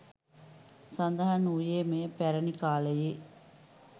සඳහන් වූයේ මෙය පැරැණි කාලයේ